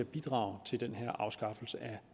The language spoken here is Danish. bidrage til den her afskaffelse af